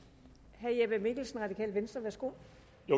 herre jeppe mikkelsen radikale venstre værsgo